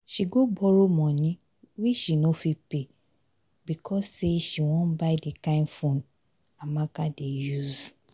she go borrow moni wey she no fit pay because sey she wan buy di kind phone amaka dey use.